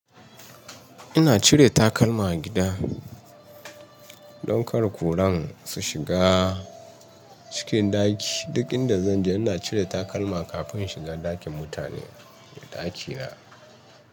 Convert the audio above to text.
Ina cire takalma a gida don kar kuran su shiga cikin ɗaki. Duk inda zan je ina cire takalma kafin in shiga ɗakin mutane da ɗakina.